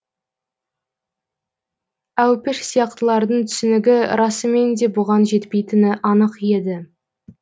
әупіш сияқтылардың түсінігі расымен де бұған жетпейтіні анық еді